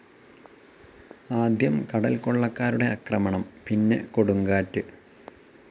ആദ്യം കടൽക്കൊള്ളക്കാരുടെ അക്രമണം, പിന്നെ കൊടുങ്കാറ്റ്.